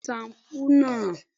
Bẹ́ẹ̀ni ó ní sampúú náà